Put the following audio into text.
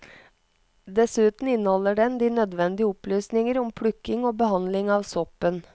Dessuten inneholder den de nødvendige opplysninger om plukking og behandling av soppen.